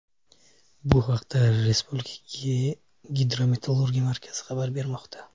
Bu haqda Respublika Gidrometeorologiya markazi xabar bermoqda .